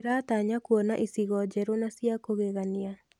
Ndĩratanya kuona icigo njerũ na cia kũgeggania.